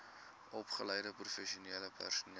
opgeleide professionele personeel